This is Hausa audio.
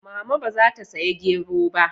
Mama ba za ta saya gero ba?